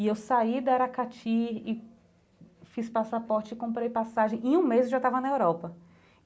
E eu saí da Aracati e fiz passaporte e comprei passagem e em um mês eu já estava na Europa.